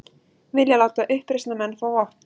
Vilja láta uppreisnarmenn fá vopn